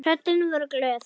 Tröllin voru glöð.